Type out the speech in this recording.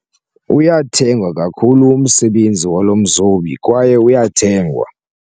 Uyathengwa kakhulu umsebenzi walo mzobi kwaye uyathengwa.